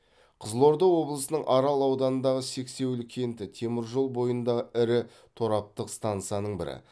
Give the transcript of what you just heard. қызылорда облысының арал ауданындағы сексеуіл кенті темір жол бойындағы ірі тораптық стансаның бірі